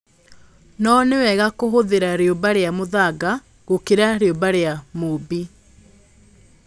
No nĩ wega kũhũthĩra rĩũmba rĩa mũthanga gũkĩra rĩũmba rĩa mũũmbi